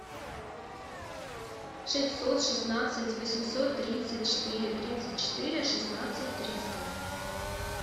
шестьсот шестнадцать восемьсот тридцать четыре тридцать четыре шестнадцать триста